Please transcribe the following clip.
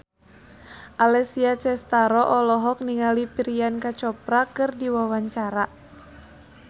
Alessia Cestaro olohok ningali Priyanka Chopra keur diwawancara